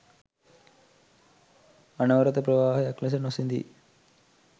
අනවරත ප්‍රවාහයක් ලෙස නොසිඳී